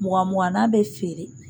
Mugan mugannan bɛ feere.